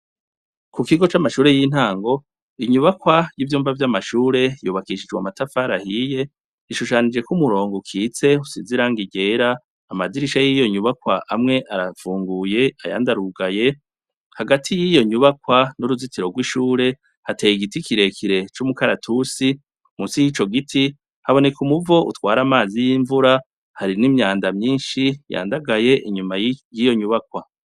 Kukigo camashure yintango inyubakwa yivyumba vyamashure vyubakishijwe amatafari ahiye rishushanijeko umurongo ukitse usize irangi ryera amadirisha yiyo nyubakwa amwe aravumbuye ayandi arugaye hagati yiyo nyubakwa hariho uruzitiro rwishure hateye igiti kirekire cumukaratusi munsi yico giti haboneka umuvo utwara amazi yimvura hari nimyanda nyinshi yandagaye inyuma yiyo nyubakwa